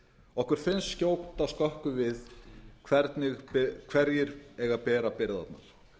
okkur finnst skjóta skökku við hverjir eiga að bera byrðarnar